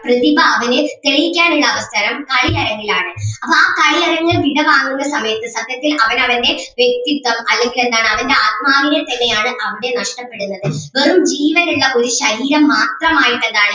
പ്രതിഭ അവനെ സ്നേഹിക്കാൻ ഉള്ള അവസരം കളിയരങ്ങിലാണ്. അപ്പൊ ആ കളിയരങ്ങ് വിടവാങ്ങുന്ന സമയത്ത് സത്യത്തിൽ അവൻ അവൻ്റെ വ്യക്തിത്വം അല്ലെങ്കിൽ എന്താണ് അവൻ്റെ ആത്മാവിനെ തന്നെ ആണ് അവന് നഷ്‌ടപ്പെടുന്നത്‌ വെറും ജീവനുള്ള ഒരു ശരീരം മാത്രമായിട്ട് എന്താണ്